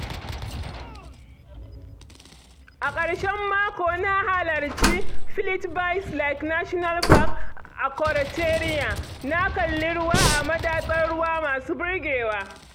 A ƙarshen mako na halarci Plitvice Lakes National Park a Croatia, na kalli ruwa a madatsar ruwa masu burgewa.